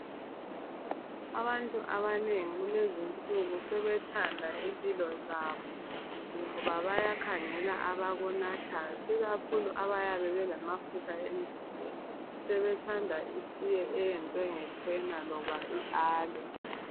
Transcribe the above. Abantu abanengi kulezi insuku sebethanda impilo zabo ngoba bayakhangela abakunathayo ikakhulu abalamafutha emzimbeni. Sebethanda itiye eyenzwe ngecena loba I Aloe